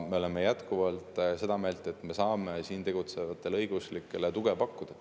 Me oleme jätkuvalt seda meelt, et me saame siin tegutsevatele õigeusklikele tuge pakkuda.